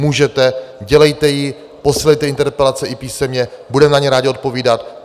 Můžete, dělejte ji, posílejte interpelace i písemně, budeme na ně rádi odpovídat.